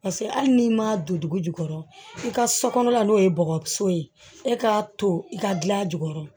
Paseke hali n'i ma don dugu jukɔrɔ i ka so kɔnɔla n'o ye bɔgɔ so ye e k'a to i ka gilan jukɔrɔ